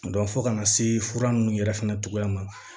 fo kana se fura nunnu yɛrɛ fana cogoya ma